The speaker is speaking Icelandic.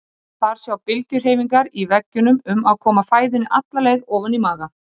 Þar sjá bylgjuhreyfingar í veggjunum um að koma fæðunni alla leið ofan í maga.